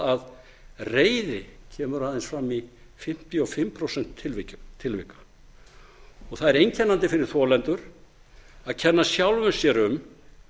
að reiði kemur aðeins fram í fimmtíu og fimm prósent tilvika það er einkennandi fyrir þolendur er að kenna sjálfum sér um